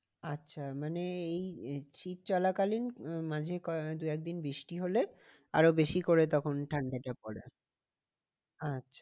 আচ্ছা মানে এই শীত চলা কালীন উম মাঝে দু একদিন বৃষ্টি হলে আরো বেশি করে তখন ঠান্ডাটা পড়ে। আচ্ছা